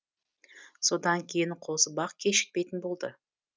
содан кейін қозыбақ кешікпейтін болды